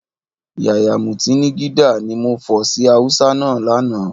Yàyà mútànigídá, ni mo fọ̀ sí Hausa náà lánàá